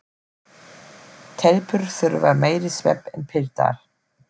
Telpur þurfa meiri svefn en piltar.